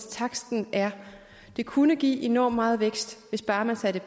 er det kunne give enormt meget vækst hvis bare man satte